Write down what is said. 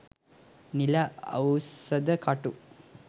නිල අවුසද කටු